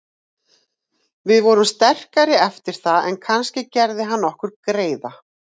Við vorum sterkari eftir það en kannski gerði hann okkur greiða.